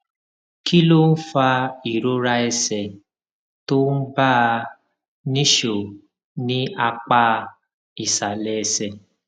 kí ló ń fa ìrora ẹsè tó ń bá a nìṣó ní apá ìsàlè ẹsè